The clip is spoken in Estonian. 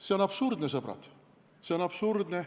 See on absurdne, sõbrad, see on absurdne.